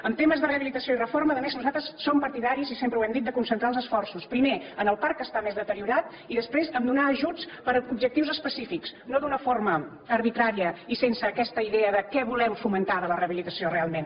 en temes de rehabilitació i reforma a més nosaltres som partidaris i sempre ho hem dit de concentrar els esforços primer en el parc que està més deteriorat i després a donar ajuts per a objectius específics no d’una forma arbitrària i sense aquesta idea de què volem fomentar de la rehabilitació realment